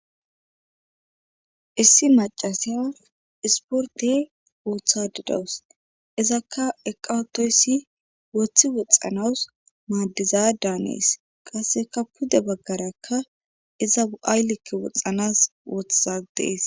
Issi macasiya isporte woothadidawus izakka eqawotoyssi woththi woxxanawus maaddiza daanees qasseka pude baggarakka iza u'aaylekke woxxanas wothadees.